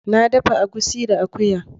Na dafa egusi da akuya.